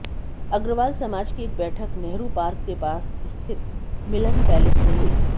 अग्रवाल समाज की एक बैठक नेहरू पार्क के पास स्थित मिलन पैलेस में हुई